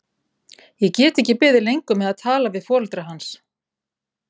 Ég get ekki beðið lengur með að tala við foreldra hans.